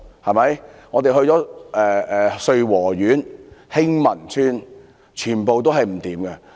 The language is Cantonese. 我們亦到訪穗禾苑和興民邨，全部情況糟糕。